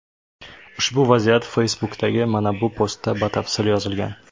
Ushbu vaziyat Facebook’dagi mana bu postda batafsil yozilgan.